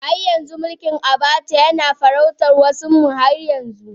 Har yanzu mulkin Abacha yana farautar wasunmu har yanzu.